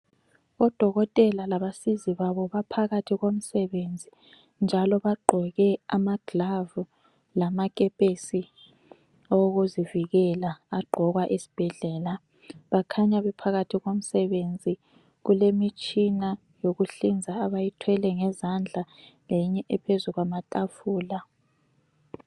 Odokotela labasizi babo baphakathi komsebenzi njalo bagqoke amagilavu lamakepesi awokuzivikela agqokwa ezibhedlela. Bakhanya bephakathi komsebenzi, kulemitshina yokuhlinza abayithwele ngezandla leyinye ephezu kwamatafula.